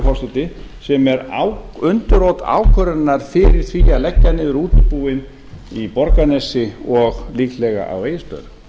virðulegi forseti sem er undirrót ákvörðunar fyrir því að leggja niður útibúið í borgarnesi og líklega á egilsstöðum